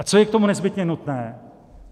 A co je k tomu nezbytně nutné?